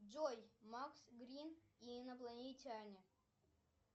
джой макс грин и инопланетяне